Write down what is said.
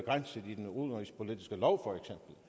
nå